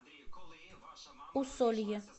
усолье